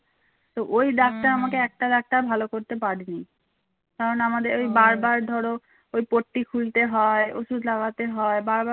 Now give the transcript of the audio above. ওই পট্টি খুলতে হয় ওষুধ লাগাতে হয় বারবার